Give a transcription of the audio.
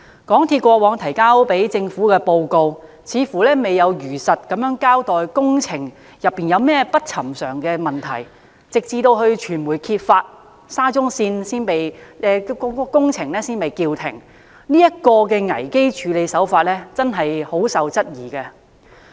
港鐵公司過往向政府提交的報告，似乎沒有如實交代工程有何不尋常之處，直至傳媒揭發事件，沙中線工程才被叫停，這種處理危機手法備受質疑。